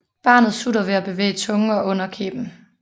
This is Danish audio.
Barnet sutter ved at bevæge tungen og underkæben